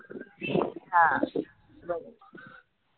हां बरोबर